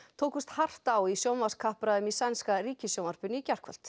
tókust hart á í í sænska ríkissjónvarpinu í gærkvöld